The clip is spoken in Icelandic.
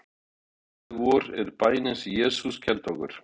Faðir vor er bænin sem Jesús kenndi okkur.